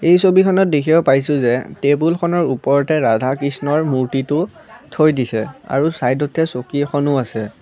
এই ছবিখনত দেখিব পাইছোঁ যে টেবুলখনৰ ওপৰতে ৰাধা কৃষ্ণৰ মূৰ্ত্তিটো থৈ দিছে আৰু চাইদতে চকী এখনো আছে।